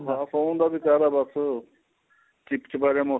ਸੋਂਣ ਦਾ ਵੀ ਸਾਰਾ ਬਸ ਚਿਪਚਪਾ ਜਿਹਾ ਮੋਸਮ